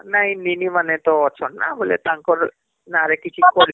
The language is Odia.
ନାଇଁ ନିନି ମାନେ ତ ଅଛନ ନା ବୋଲେ ତାଙ୍କର ନା ରେ କିଛି